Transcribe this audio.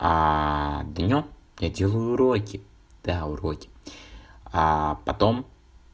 днём я делаю уроки да уроки потом